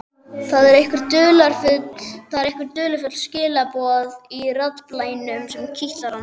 Það eru einhver dularfull skilaboð í raddblænum sem kitla hann.